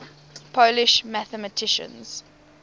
polish mathematicians